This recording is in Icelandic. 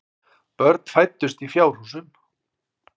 Börn fæddust í fjárhúsum.